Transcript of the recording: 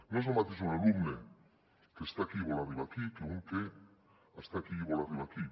no és el mateix un alumne que està aquí i vol arribar aquí que un que està aquí i vol arribar aquí